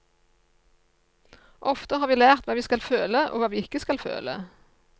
Ofte har vi lært hva vi skal føle og hva vi ikke skal føle.